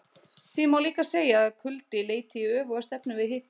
Því má líka segja að kuldi leiti í öfuga stefnu við hita.